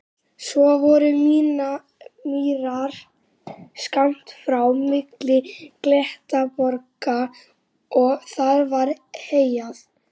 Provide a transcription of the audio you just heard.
Svo voru mýrar skammt frá milli klettaborga og þar var heyjað.